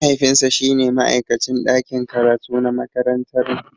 Mahaifinsa shine ma'aikacin ɗakin karatu na makarantarmu.